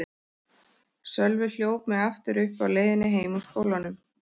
Sölvi hljóp mig aftur uppi á leiðinni heim úr skólanum.